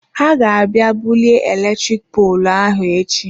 He ga abịa bulie eletrik poolụ ahụ echi.